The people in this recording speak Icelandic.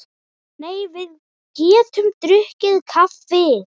Nei, við getum drukkið kaffi.